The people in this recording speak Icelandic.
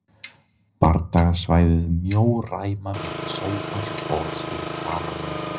Bardagasvæðið mjó ræma milli sófans og borðs fyrir framan hann.